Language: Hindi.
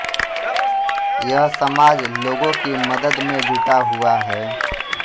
यह समाज लोगों की मदद में जुटा हुआ है